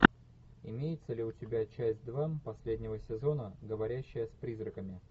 имеется ли у тебя часть два последнего сезона говорящая с призраками